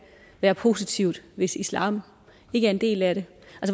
være positivt hvis islam ikke er en del af det